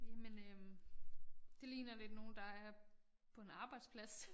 Jamen øh det ligner lidt nogen der er på en arbejdsplads